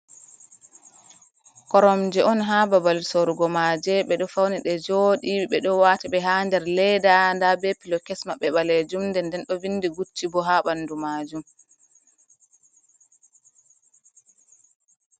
Koromje on ha babal sorugo maje, ɓe ɗo fauni ɗe joɗi ɓeɗo wata ɓe ha der leeda da ɓe pilo kesma ɓe ɓalejum ɗe nden ɗo vindi gucci bo ha ɓandu majum.